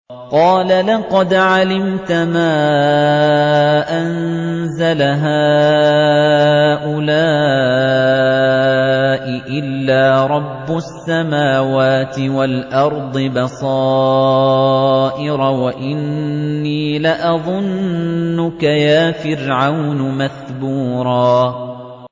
قَالَ لَقَدْ عَلِمْتَ مَا أَنزَلَ هَٰؤُلَاءِ إِلَّا رَبُّ السَّمَاوَاتِ وَالْأَرْضِ بَصَائِرَ وَإِنِّي لَأَظُنُّكَ يَا فِرْعَوْنُ مَثْبُورًا